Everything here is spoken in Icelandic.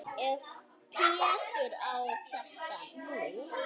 Ef Pétur á þetta nú.